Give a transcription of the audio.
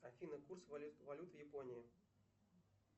афина курс валют в японии